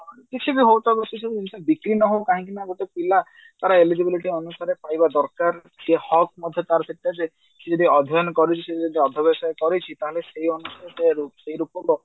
କିଛି ବି ହଉ ସେ ସବୁ ଜିନିଷ ବିକ୍ରି ନହଉ କାହିଁକି ନା ଗୋଟେ ପିଲା ସେ ତାର eligibility ଅନୁସାରେ ପାଇବା ଦରକାର ସେ ହକ୍ ମଧ୍ୟ ତା ସେଟା ଯେ ସେ ଯଦି ଅଧ୍ୟୟନ କରୁଛି ସେ ଯଦି ଅଧବେଶ କରିଛି ତାହେଲେ ସେଇ ଅନୁସାରେ ସେଇ ରୂପକ